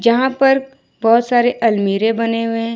यहां पर बहोत सारे अलमीरे बने हुए हैं।